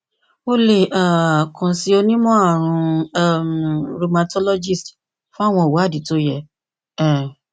o le um kan si onimọarun um rheumatologist fun awọn iwadii to yẹ um